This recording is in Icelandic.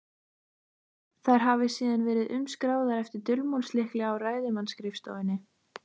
Þær hafi síðan verið umskráðar eftir dulmálslykli á ræðismannsskrifstofunni.